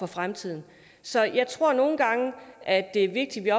fremtiden så jeg tror at det er vigtigt at